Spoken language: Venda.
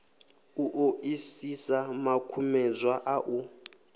u ṱoḓisisa makumedzwa a u